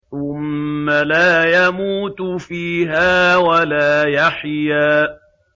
ثُمَّ لَا يَمُوتُ فِيهَا وَلَا يَحْيَىٰ